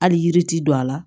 Hali yiri ti don a la